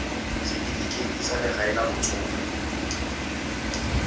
setifikeite sa legae la batsofe